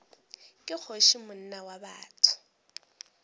ke kgoši monna wa botho